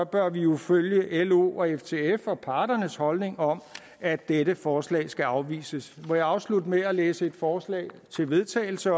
bør vi jo følge los og ftfs og parternes holdning om at dette forslag skal afvises jeg vil afslutte med at læse et forslag til vedtagelse